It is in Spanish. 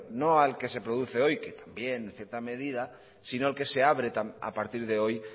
no al que se produce hoy que también en cierta medida sino el que abre a partir de hoy